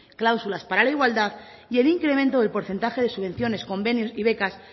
cláusulas para la igualdad y el incremento del porcentaje de subvenciones convenios y becas